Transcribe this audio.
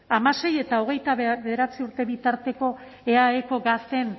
hamasei eta hogeita bederatzi urte bitarteko eaeko gazteen